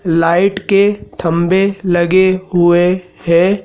Light के थम्बे लगे हुए हैं।